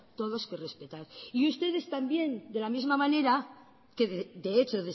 todos que respetar ustedes también de la misma manera que de hecho